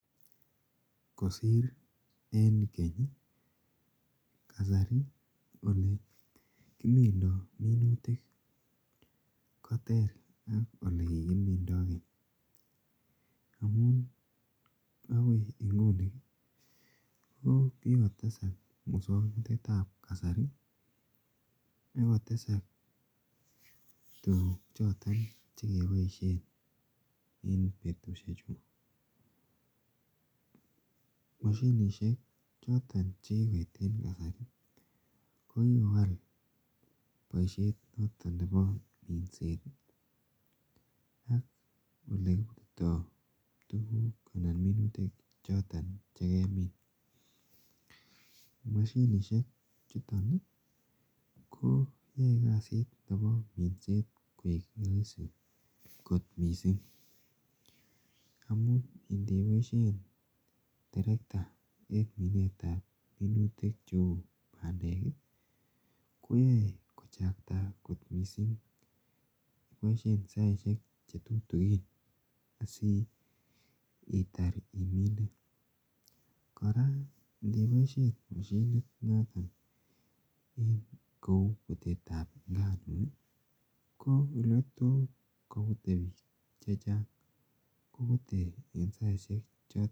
Boisiet anan kasit noton komuche kobosok ingomiten moshinisiek choton chebo imbar ih , komuche kobos bik choton cheyae anan chekisir kasit en mbareng'ung, ako ingandan ibe kasitab bichu, ko chokchin kasit ne bo imbar mashinisiek kosir bik. Noton kora ingeboisien mashinisiek, kora ingo mi bik ih kouche koyai kasishek alak ako Wendi kasit mutyo noton mashinisiek kokiko nyumnyumit kasit missing ako ingeboisien anan koyai kasit bik. kora en resob ih bik kibakenge, komuch kobua aikotaretin kasit en kong'ung.